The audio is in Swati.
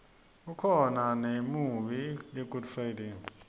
kubakhona nemiunbi yegood friday